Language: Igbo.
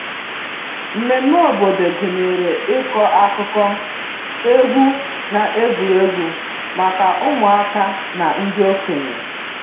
Mmemmé obodo gụnyere ịkọ akụkọ, egwu, na egwuregwu maka ụmụaka na ndị okenye